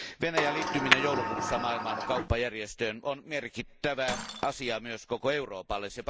Venäjän liittyminen joulukuussa Maailman kauppajärjestöön on merkittävä asia myös koko Euroopalle.